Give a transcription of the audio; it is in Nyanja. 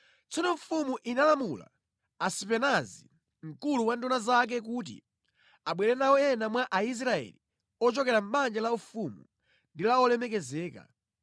Tsono mfumu inalamula Asipenazi, mkulu wa nduna zake kuti abwere nawo ena mwa Aisraeli ochokera mʼbanja laufumu ndi la olemekezeka,